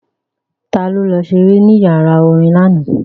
Ta ló lọ ṣeré ní yàrá orin lánàá?